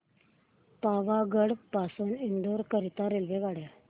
पावागढ पासून इंदोर करीता रेल्वेगाड्या